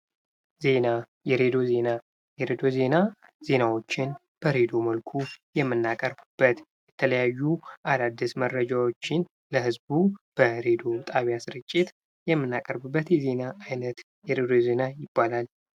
ዜና የሬድዮ ዜና፣ የሬድዮ ዜና ዜናዎችን በሬድዮ መልኩ የምናቀርብበት የተለያዩ አዳዲስ መረጃዎችን ለህዝብ በሬድዮ ጣቢያ ስርጭት የምናቀርብበት የዜና አይነት የሬድዮ ዜና ይባላል።